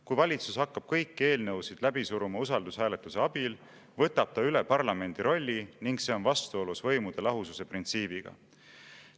Kui valitsus hakkab kõiki eelnõusid läbi suruma usaldushääletuse abil, võtab ta üle parlamendi rolli ning see on vastuolus võimude lahususe printsiibiga.